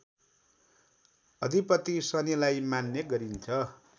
अधिपति शनिलाई मान्ने गरिन्छ